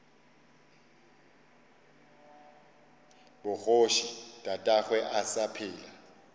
bogoši tatagwe a sa phela